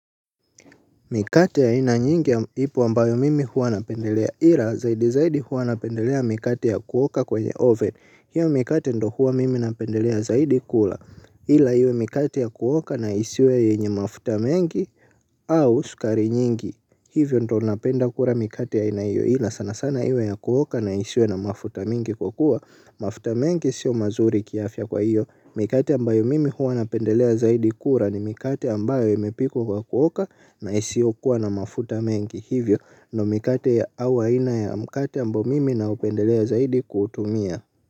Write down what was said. Mikate ya aina nyingi ya ipo ambayo mimi huwa napendelea ila zaidi zaidi huwa napendelea mikate ya kuoka kwenye oven. Hiyo mikate ndo huwa mimi napendelea zaidi kula ila hiyo mikate ya kuoka na isiwe yenye mafuta mengi au sukari nyingi. Hivyo ndo napenda kura mikate ya aina hiyo ila sana sana iwe ya kuoka na isiwe na mafuta mingi kwa kuwa mafuta mingi sio mazuri kiafya kwa hiyo mikate ambayo mimi huwa napendelea zaidi kura ni mikate ambayo imepikwa kwa kuoka na isiyokuwa na mafuta mengi. Hivyo ndo mikate ya au aina ya mkate ambayo mimi naupendelea zaidi kutumia.